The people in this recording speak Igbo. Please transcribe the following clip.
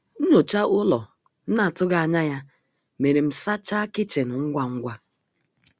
Nnyocha ụlọ m na atụghi anya ya mere m sacha kichin ngwa ngwa